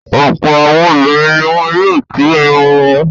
Ọ̀pọ̀ àwọn obìnrin ni wọ́n yóò tú irun wọn.